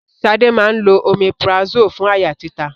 Ṣadé máa ń lo omeprazole fún àyà títa